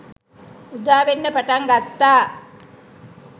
උදාවෙන්න පටන් ගත්තා.